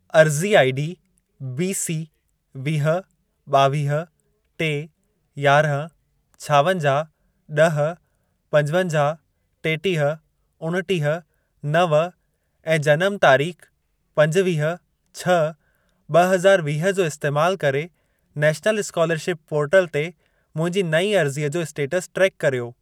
अर्ज़ी ID B C वीह, ॿावीह, टे, यारहं, छावंजाहु, ॾह, पंजवंजाहु, टेटीह, उणटीह, नव ऐं जनम तारीख़ पंजुवीह छह ब॒ हज़ार वीह जो इस्तैमाल करे नैशनल स्कोलरशिप पोर्टल ते मुंहिंजी नईं अर्ज़ीअ जो स्टेटस ट्रेक कर्यो।